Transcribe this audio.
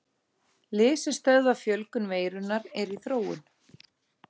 Lyf sem stöðva fjölgun veirunnar eru í þróun.